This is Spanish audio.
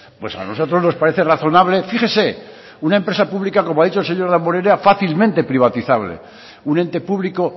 pues a nosotros nos parece razonable fíjese una empresa pública como ha dicho el señor damborenea fácilmente privatizable un ente público